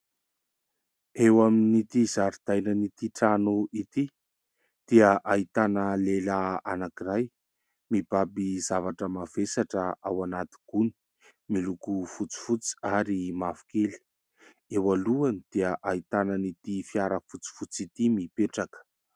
Eo amin'ity zaridainan'ity trano ity, dia ahitana lehilahy anankiray mibaby zavatra mavesatra ao anaty gony miloko fotsifotsy ary mavokely. Eo alohany dia ahitana an'ity fiara fotsifotsy ity mipetraka.